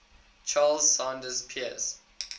charles sanders peirce